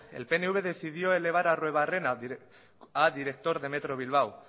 el pnv decidió elevar a arruebarrena a director de metro bilbao